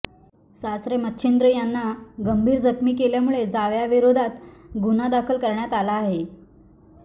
सासरे मच्छिंद्र यांना गंभीर जखमी केल्यामुळे जावायाविरोधात गुन्हा दाखल करण्यात आला आहे